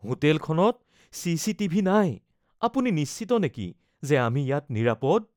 হোটেলখনত চিচিটিভি নাই, আপুনি নিশ্চিত নেকি যে আমি ইয়াত নিৰাপদ